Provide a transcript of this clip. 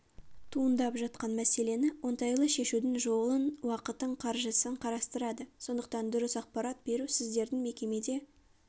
туындап жатқан мәселені оңтайлы шешудің жолын уақытын қаржысын қарастырады сондықтан дұрыс ақпарат беру сіздердің мекемеде